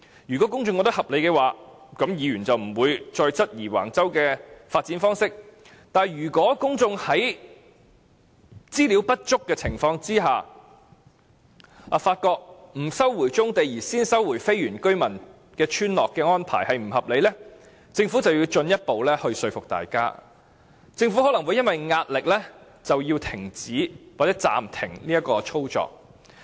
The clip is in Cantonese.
如果公眾認為合理，議員便不會再質疑橫洲的發展方式，但如果公眾在分析全部文件後，發覺不收回棕地而先收回非原居民村落的安排是不合理，政府便要進一步說服大家，或因為壓力而停止收回非原居民村落。